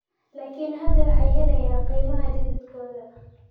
Laakiin hadda waxay helayaan qiimaha dhididkooda.